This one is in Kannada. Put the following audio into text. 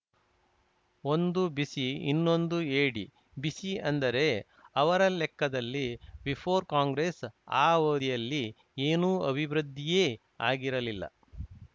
ಒಂದು ಬಿಸಿ ಇನ್ನೊಂದು ಎಡಿ ಬಿಸಿ ಅಂದರೆ ಅವರ ಲೆಕ್ಕದಲ್ಲಿ ಬಿಫೋರ್‌ ಕಾಂಗ್ರೆಸ್‌ ಆ ಅವಧಿಯಲ್ಲಿ ಏನೂ ಅಭಿವೃದ್ಧಿಯೇ ಆಗಿರಲಿಲ್ಲ